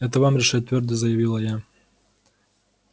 это вам решать твёрдо заявила я